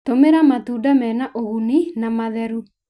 Tũmĩra matunda mena ũguni na matheru.